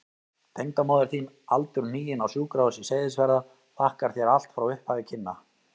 Tengdamóðir þín aldurhnigin, á Sjúkrahúsi Seyðisfjarðar, þakkar þér allt frá upphafi kynna.